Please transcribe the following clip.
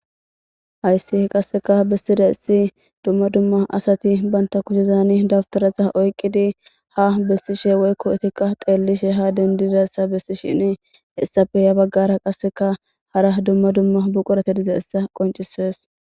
hayssi h qasseka bessida issi dumma dumma asati banta kushezani dabtarasa oyqqidi ha bessishe woykko itikka xeellishe ha dendidassa bessi shin hessafe ya baggara qasseka hara dumma dumma buqurate dize essa qoncises